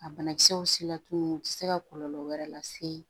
A banakisɛw sela tuguni u ti se ka kɔlɔlɔ wɛrɛ lase